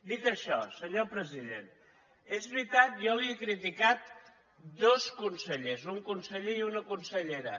dit això senyor president és veritat jo li he criticat dos consellers un conseller i una consellera